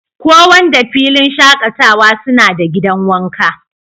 ko Wanda filin shakatawa suna da gidan wanka.